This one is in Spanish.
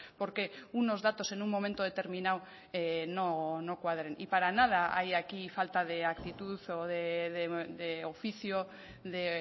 porque unos datos en un momento determinado no cuadren y para nada hay aquí falta de actitud o de oficio de